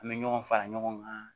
An bɛ ɲɔgɔn fara ɲɔgɔn kan